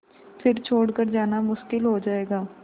फिर छोड़ कर जाना मुश्किल हो जाएगा